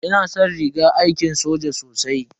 Ina san rigar aiki soja sosai.